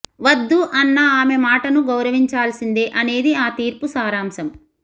వద్దు అన్న ఆమె మాటను గౌరవించాల్సిందే అనేది ఆ తీర్పు సారాంశం